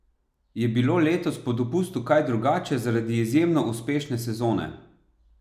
Je bilo letos po dopustu kaj drugače zaradi izjemno uspešne sezone?